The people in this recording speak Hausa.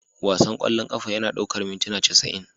Wasan ƙwallon ƙafa yana ɗaukar mintuna casa'in